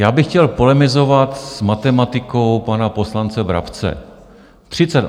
Já bych chtěl polemizovat s matematikou pana poslance Brabce.